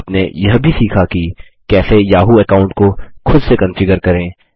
आपने यह भी सीखा कि कैसे याहू अकाउंट को खुद से कन्फिगर करें